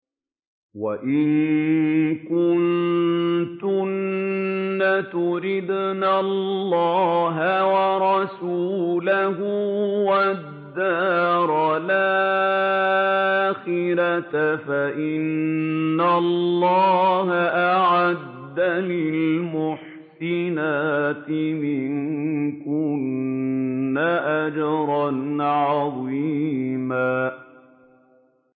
وَإِن كُنتُنَّ تُرِدْنَ اللَّهَ وَرَسُولَهُ وَالدَّارَ الْآخِرَةَ فَإِنَّ اللَّهَ أَعَدَّ لِلْمُحْسِنَاتِ مِنكُنَّ أَجْرًا عَظِيمًا